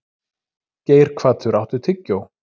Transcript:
Geirhvatur, áttu tyggjó?